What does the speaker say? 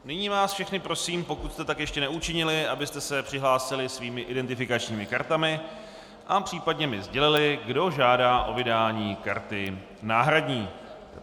Nyní vás všechny prosím, pokud jste tak ještě neučinili, abyste se přihlásili svými identifikačními kartami a případně mi sdělili, kdo žádá o vydání karty náhradní.